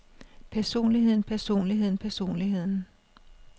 personligheden personligheden personligheden